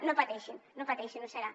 no pateixin no pateixin ho serà